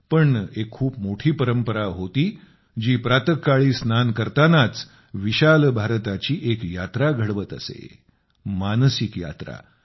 पण एक खूप मोठी परंपरा होती जी प्रातःकाळी स्नान करतानाच विशाल भारताची एक यात्रा घडवत असे मानसिक यात्रा